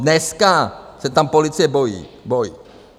Dneska se tam policie bojí.